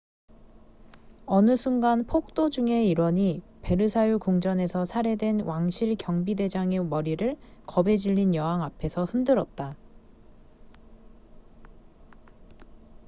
어느 순간 폭도 중의 일원이 베르사유궁전에서 살해된 왕실 경비대장의 머리를 겁에 질린 여왕 앞에서 흔들었다